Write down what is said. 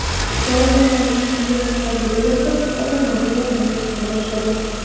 Yaralangan Ilyos hovlida yotib, odamlarni yordamga chaqira boshladi.